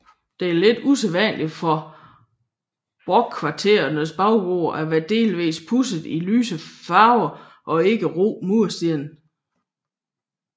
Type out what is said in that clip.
Det er lidt usædvanlig for brokvarterernes baggårde at være delvis pudset i lyse farver og ikke i rå mursten